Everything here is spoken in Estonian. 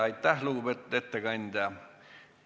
Aitäh, lugupeetud ettekandja!